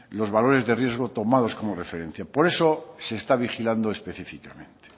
los valores de riesgo tomados como referencia por eso se está vigilando específicamente